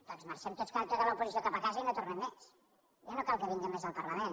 doncs marxem tots els de l’oposició cap a casa i no tornem més ja no cal que vinguem més al parlament